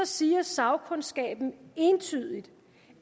siger sagkundskaben entydigt